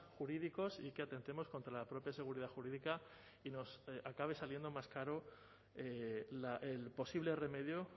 jurídicos y que atentemos contra la propia seguridad jurídica y nos acabe saliendo más caro el posible remedio